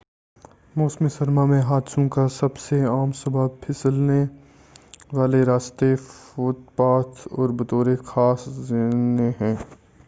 موسم سرما میں حادثوں کا سب سے عام سبب پھسلنے والے راستے فوت پاتھ اور بطور خاص زینے ہیں